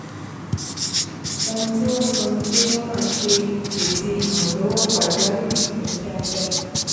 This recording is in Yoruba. ohun tí wọ́n sọ ni pé wọ́n máa ṣe ìpèsè ìrànlọ́wọ́ pàjáwìrì ní kíákíá